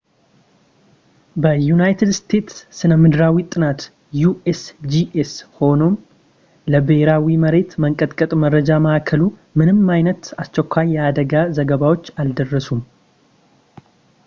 ለዩናይትድ ስቴትስ ስነምድራዊ ጥናት usgs ሆነም ለብሄራዊ የመሬት መንቀጥቀጥ መረጃ ማዕከሉ ምንም አይነት አስቸኳይ የአደጋ ዘገባዎች አልደረሱም